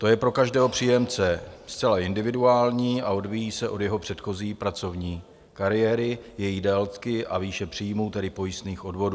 To je pro každého příjemce zcela individuální a odvíjí se od jeho předchozí pracovní kariéry, její délky a výše příjmu, tedy pojistných odvodů.